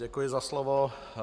Děkuji za slovo.